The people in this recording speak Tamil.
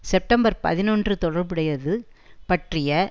செப்டம்பர் பதினொன்று தொடர்புடையது பற்றிய